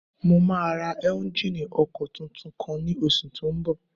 Mo máa ra éúnjínì ọkọ̀ tuntun kan ní oṣù tó n bọ̀